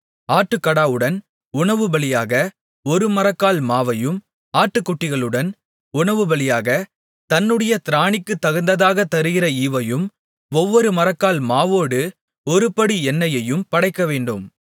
ஆட்டுக்கடாவுடன் உணவுபலியாக ஒரு மரக்கால் மாவையும் ஆட்டுக்குட்டிகளுடன் உணவுபலியாகத் தன்னுடைய திராணிக்குத்தகுந்ததாகத் தருகிற ஈவையும் ஒவ்வொரு மரக்கால் மாவோடு ஒருபடி எண்ணெயையும் படைக்கவேண்டும்